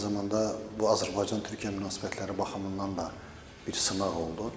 Eyni zamanda bu Azərbaycan-Türkiyə münasibətləri baxımından da bir sınaq oldu.